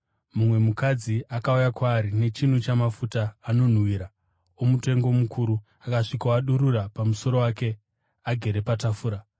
mumwe mukadzi akauya kwaari nechinu chamafuta anonhuhwira, omutengo mukuru, akasvikoadururira pamusoro wake, agere patafura.